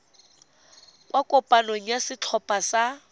kwa kopanong ya setlhopha sa